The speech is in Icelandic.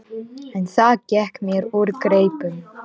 En það gekk mér úr greipum.